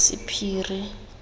sephiri